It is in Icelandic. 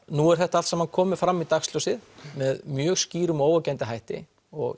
nú er þetta allt saman komið fram í dagsljósið með mjög skýrum og óyggjandi hætti